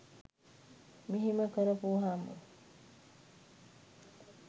මෙහෙම කරපුවහාම